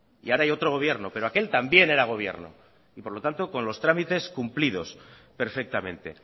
y ahora hay otro gobierno pero aquel también era gobierno y por lo tanto con los trámites cumplidos perfectamente